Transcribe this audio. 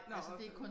Nåh